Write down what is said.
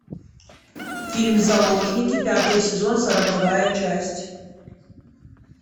фильм заложники пятый сезон сороковая часть